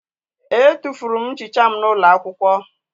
Etufuru m nchicha m n'ụlọ akwụkwọ